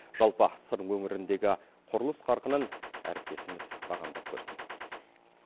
жалпы сыр өңіріндегі құрылыс қарқынын әріптесіміз бағамдап көрсін